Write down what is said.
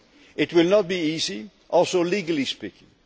It will not be easy, also legally speaking.